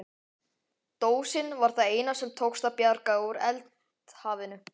Dósin var það eina sem tókst að bjarga úr eldhafinu.